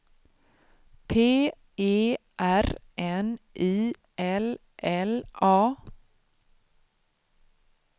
P E R N I L L A